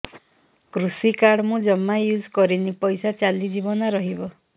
କୃଷି କାର୍ଡ ମୁଁ ଜମା ୟୁଜ଼ କରିନି ପଇସା ଚାଲିଯିବ ନା ରହିବ